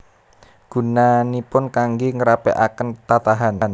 Gunanipun kanggé ngrapèkaken tatahan